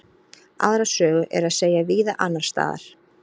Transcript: Aðra sögu er að segja víða annars staðar.